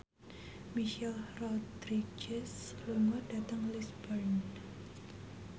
Michelle Rodriguez lunga dhateng Lisburn